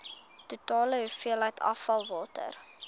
totale hoeveelheid afvalwater